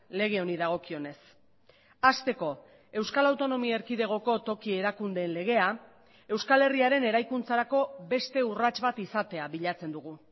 lege honi dagokionez hasteko euskal autonomia erkidegoko toki erakundeen legea euskal herriaren eraikuntzarako beste urrats bat izatea bilatzen dugu